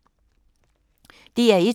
DR1